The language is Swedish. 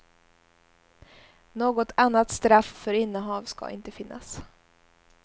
Något annat straff för innehav ska inte finnas.